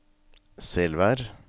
Selvær